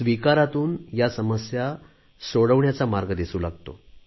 स्वीकारातून या समस्या सोडविण्याचा मार्ग दिसू लागतो